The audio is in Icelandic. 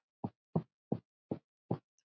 Penslið með pískuðu eggi.